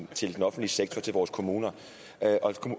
til den offentlige sektor til vores kommuner